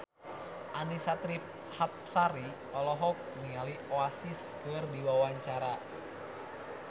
Annisa Trihapsari olohok ningali Oasis keur diwawancara